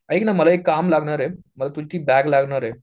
ऐक ना मला एक काम लागणारे मला तुझी ती बॅग लागणारे